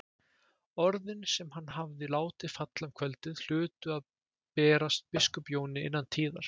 Orðin sem hann hafði látið falla um kvöldið hlutu að berast biskup Jóni innan tíðar.